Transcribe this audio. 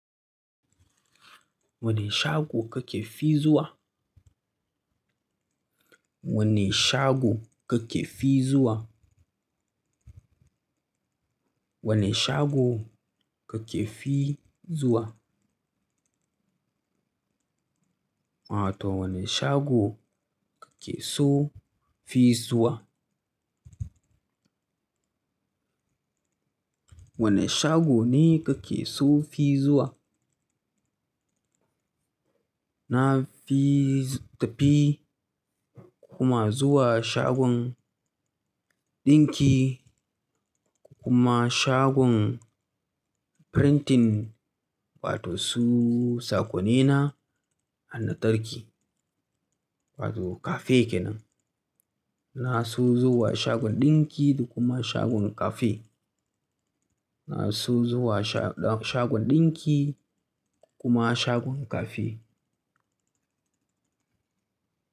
Wane shago kake fi zuwa? Wane shago kake fi zuwa? Wane shago kake fi zuwa? Wato wane shago kake so fi zuwa? Wane shago ne kake so fi zuwa? Na fi tafi kuma zuwa shagon ɗinki kuma shagon frintin wato su sakonina hanatarki wato cafe kenan. Na so zuwa shagon ɗinki da kuma shagon cafe. Na so zuwa sha-shagon ɗinki kuma shagon cafe.